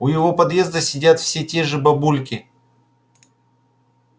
у его подъезда сидят все те же бабульки